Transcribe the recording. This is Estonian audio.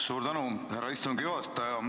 Suur tänu, härra istungi juhataja!